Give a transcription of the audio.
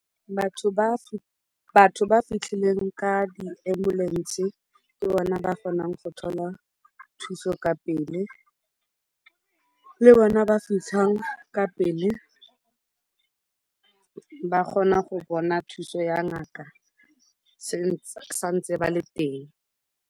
Batho ba ba fitlhileng ka di-ambulance ke bona ba kgonang go thola thuso ka pele, le bona ba ba fitlhang ka pele ba kgona go bona thuso ya ngaka sa ntse ba le teng.